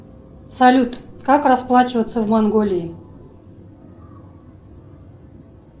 салют как расплачиваться в монголии